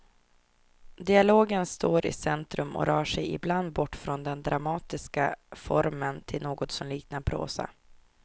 Dialogen står i centrum och rör sig ibland bort från den dramatiska formen till något som liknar prosa.